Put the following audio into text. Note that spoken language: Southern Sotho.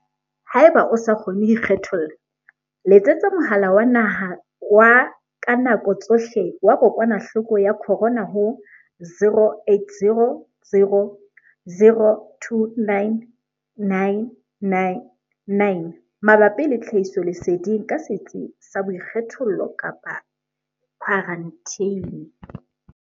Haeba o sa kgone ho ikgetholla, letsetsa Mohala wa Naha wa ka Nako Tsohle wa Kokwanahloko ya Corona ho 0800 029 999 mabapi le tlhahisoleseding ka setsi sa boikgethollo kapa khwaranteni.